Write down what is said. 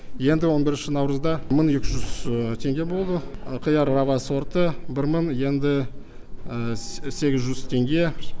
енді он бірінші наурызда мың екі жүз теңге болды қияр рава сорты бір мың енді сегіз жүз теңге